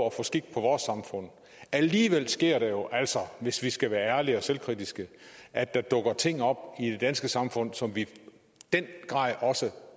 at få skik på vores samfund alligevel sker det jo altså hvis vi skal være ærlige og selvkritiske at der dukker ting op i det danske samfund som vi i den grad også